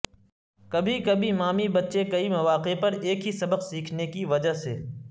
کبھی کبھی مامی بچے کئی مواقع پر ایک ہی سبق سیکھنے کی وجہ سے